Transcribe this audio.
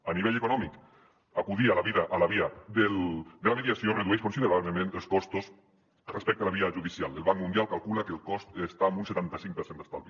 a nivell econòmic acudir a la via de la mediació redueix considerablement els costos respecte a la via judicial el banc mundial calcula que el cost està en un setanta cinc per cent d’estalvi